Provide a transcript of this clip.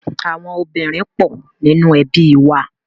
Àwọn obìnrin pọ̀ nínú ẹbí wa.